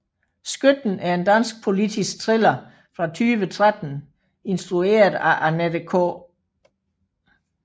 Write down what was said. Skytten er en dansk politisk thriller fra 2013 instrueret af Annette K